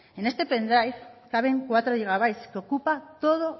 en este pen drive caben cuatro gigabytes que ocupa todo